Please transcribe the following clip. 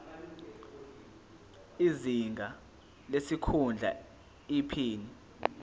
izinga lesikhundla iphini